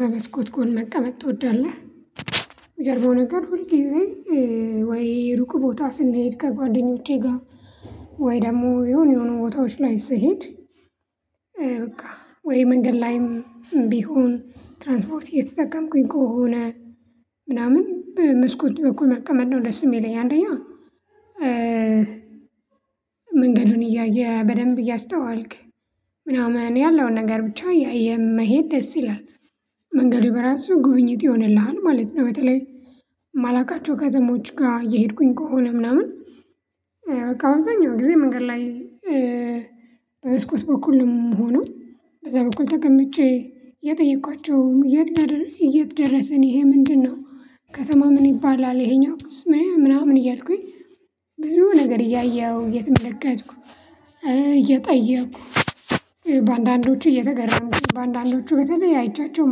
በመስኮት ከሆነ መቀመጥ ትወዳለህ? ሚገርመው ነገር ሁል ጊዜ ወይ ሩቅ ቦታ ስንሄድ ከጓደኞቼ ጋር ወይ ደግሞ የሆነ የሆኑ ቦታዎች ላይ ስሄድ። በቃ ወይ መንገድ ላይም ቢሆን ትራንስፖርት እየተጠቀምኩኝ ከሆነ ምናምን በመስኮት በኩል መቀመጥ ነው ደስ ሚለኝ አንደኛው። መንገዱን እያየ በደንብ እያስተዋልክ ምናምን ያለውን ነገር ብቻ የመሄድ ደስ ይላል። መንገዴ በራሱ ጉብኝት ይሆንልሃል ማለት ነው። በተለይ ማላቃቸው ከተሞች ጋር እየሄድኩኝ ከሆነ ምናምን። በቃ አብዛኛው ጊዜ መንገድ ላይ በመስኮት በኩል ነው የምሆነው። በዛ በኩል ተቀምጬ የጠየኳቸውም የት የት ደረሰን ይሄ ምንድነው? ከተማ ምን ይባላል ይሄኛው ቅስም ምናምን እያልኩኝ ብዙ ነገር እያየሁ የትመለከትኩ እየጠየኩ በአንዳንዶቹ እየተገረምኩ በአንዳንዶቹ በተለይ አይቻቸው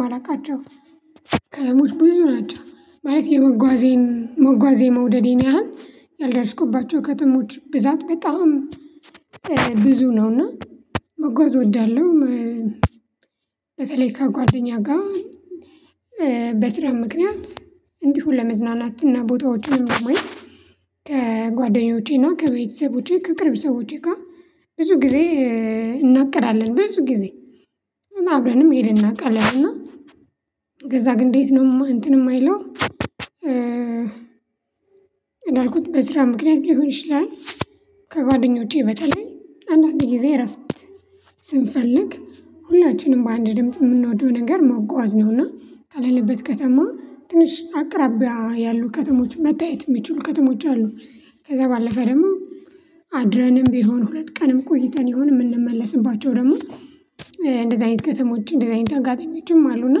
ማላውቃቸው ከተሞች ብዙ ናቸው። ማለት የመጓዜን መጓዝ የመውደዴን ያህል ያልደረስኩባቸው ከተሞች ብዛት በጣም ብዙ ነውና መጓዝ እወዳለሁ። በተለይ ከጓደኛ ጋር በስራ ምክንያት እንዲሁ ለመዝናናትና ቦታዎችንም ለማየት። ከጓደኞቼና ከቤተሰቦቼ ከቅርብ ሰዎቼ ጋር ብዙ ጊዜ እናቀዳለን ብዙ ጊዜ አብረንም ይሄን እናቃለን። እና ከዛ ግን እንዴት ነው እንትን የማይለው እንዳልኩት። በስራ ምክንያት ሊሆን ይችላል። ከጓደኞቼ በተለይ አንዳንድ ጊዜ እረፍት ስንፈልግ ሁላችንም በአንድ ድምጽ የምንወደው ነገር መጓዝ ነውና ካለንበት ከተማ ትንሽ አቅራቢያ ያሉ ከተሞች መታየት የሚችሉ ከተሞች አሉ። ከዛ ባለፈ ደግሞ አድረንም ቢሆን ሁለት ቀንም ቆይተን ይሆን የምንመለስባቸው ደግሞ እንደዚህ አይነት ከተሞች እንደዚህ አይነት አጋጣሚዎችም አሉና።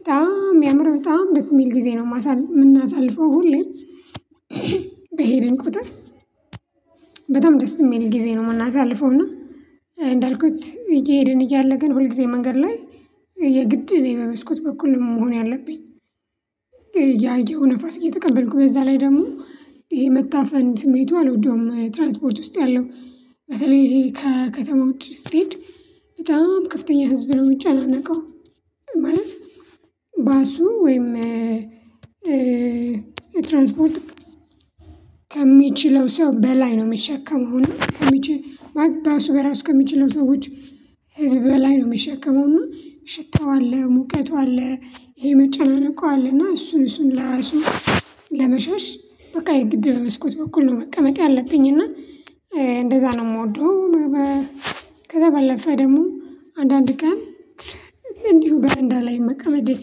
በጣም የሚያምር በጣም ደስ የሚል ጊዜ ነው የምናሳልፈው ሁሌም። በሄድን ቁጥር በጣም ደስ የሚል ጊዜ ነው ምናሳልፈው። እና እንዳልኩት እየሄድን እያለ ግን ሁል ጊዜ መንገድ ላይ የግድ ነው የመመስኩት በኩል መሆን። ያለብኝ ያየኸው ንፋስ እየተቀበልኩ በዛ ላይ ደግሞ ይሄ መታፈን ስሜቱ አልወደውም። ትራንትፖርት ውስጥ ያለው በተለይ ከከተማ ውጭ ስትሄድ በጣም ከፍተኛ ህዝብ ነው ሚጨናነቀው። ማለት ባሱ ወይም ትራንስፖርት ከሚችለው ሰው በላይ ነው የሚሸከመው። እና ከሚችል ማለት ባሱ በራሱ ከሚችለው ሰዎች ህዝብ በላይ ነው የሚሸከመው። እና ሽታው አለ ሙቀቱ አለ የመጨለል እኮ አለ። እና እሱን ለራሱ ለመሸሽ በቃ የግድ መስኮት በኩል ነው መቀመጥ ያለብኝ እና እንደዛ ነው የምወደው። ከዛ ባለፈ ደግሞ አንዳንድ ቀን እንዲሁ በረንዳ ላይ መቀመጥ ደስ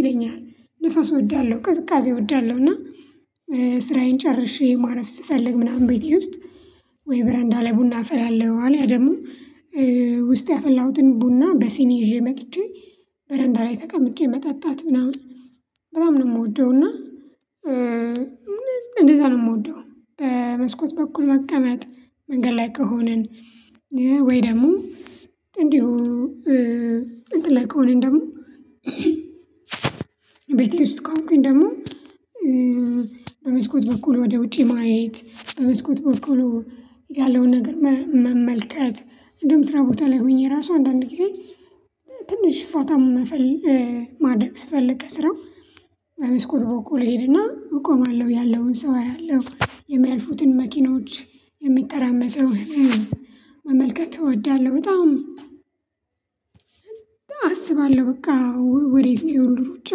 ይለኛል። ነፋስ እወዳለሁ ቅዝቃዜ እወዳለሁ እና ስራዬን ጨርሼ ማረፍ ስፈልግ ምናምን ቤቴ ውስጥ ወይ በረንዳ ላይ ቡና አፈላለው አለ ያ ደግሞ ውስጥ ያፈላሁትን ቡና በሲኒ ይዤ መጥቼ በረንዳላይ ተቀምጬ መጠጣት ምናምን በጣም ነው የምወደውና። እና እንደዛ ነው የምወደው። በመስኮት በኩል መቀመጥ መንገድ ላይ ከሆንን። ወይ ደግሞ እንዲሁ እንትን ላይ ከሆንን ደግሞ። ቤተ ውስጥ ከሆንኩኝ ደግሞ በመስኮት በኩል ወደ ውጪ ማየት በመስኮት በኩል ያለውን ነገር መመልከት። እንደውም ስራ ቦታ ላይ ሆኜ ራሱ አንዳንድ ጊዜ ትንሽ ፋታ ማድረግ ስፈልግ ከስራው በመስኮት በኩል እሄድና እቆማለሁ ያለውን ሰው አያለሁ የሚያልፉትን መኪኖች የሚራመሰው ን ህዝብ መመልከት እወዳለሁ። በጣም አስባለሁ በቃ ወዴት ነው ይሄ ሁሉ ሩጫ?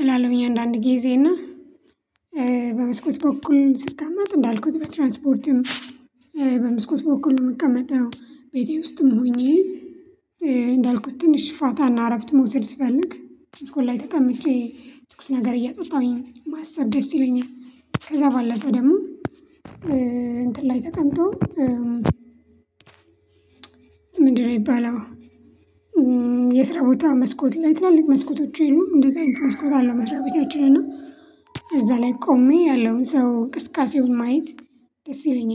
እላለሁኝ አንዳንድ ጊዜ እና በመስኮት በኩል ስቀመጥ እንዳልኩት በትራንስፖርትም በምስኮት በኩል ነው የምቀመጠው። ቤቴ ውስጥም ሆኜ እንዳልኩት ትንሽ ፋታና እረፍት መውሰድ ስፈልግ መስኮት ላይ ተቀምጬ ትኩስ ነገር እያጠጣሁኝ ማሰብ ደስ ይለኛል። ከዛ ባለፈ ደግሞ እንትን ላይ ተቀምጦ ምንድነው የሚባለው? የስራ ቦታ መስኮት ላይ ትላልቅ መስኮቶች የሉም። እንደዛ መስኮት አለው መስራቤታችን እና እዛ ላይ ቆሜ ያለውን ሰው ቅስቀሳውን ማየት ይለኛል